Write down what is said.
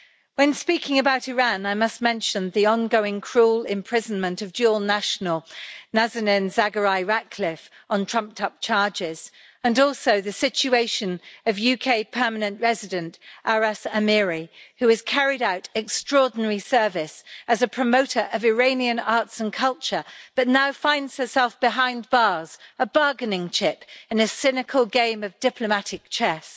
When speaking about Iran, I must mention the ongoing cruel imprisonment of dual national, Nazanin Zaghari Ratcliffe, on trumped-up charges and also the situation of UK permanent resident, Aras Amiri, who has carried out extraordinary service as a promoter of Iranian arts and culture but now finds herself behind bars a bargaining chip in a cynical game of diplomatic chess.